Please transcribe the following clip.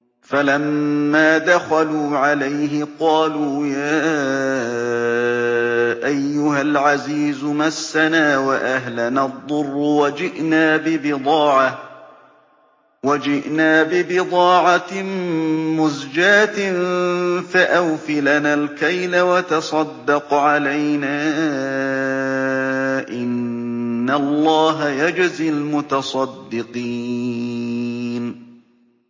فَلَمَّا دَخَلُوا عَلَيْهِ قَالُوا يَا أَيُّهَا الْعَزِيزُ مَسَّنَا وَأَهْلَنَا الضُّرُّ وَجِئْنَا بِبِضَاعَةٍ مُّزْجَاةٍ فَأَوْفِ لَنَا الْكَيْلَ وَتَصَدَّقْ عَلَيْنَا ۖ إِنَّ اللَّهَ يَجْزِي الْمُتَصَدِّقِينَ